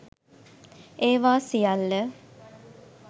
ඒවා සියල්ල